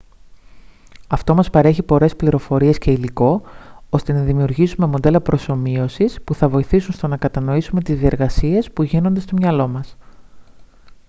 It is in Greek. αυτό μας παρέχει πολλές πληροφορίες και υλικό ώστε να δημιουργήσουμε μοντέλα προσομοίωσης που θα βοηθήσουν στο να κατανοήσουμε τις διεργασίες που γίνονται στο μυαλό μας